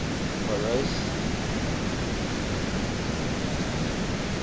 parys